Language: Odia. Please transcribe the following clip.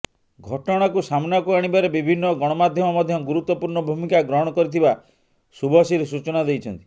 ଘଟଣାକୁ ସାମନାକୁ ଆଣିବାରେ ବିଭିନ୍ନ ଗଣମାଧ୍ୟମ ମଧ୍ୟ ଗୁରୁତ୍ବପୂର୍ଣ ଭୂମିକା ଗ୍ରହଣ କରିଥିବା ଶୁଭଶ୍ରୀ ସୂଚନା ଦେଇଛନ୍ତି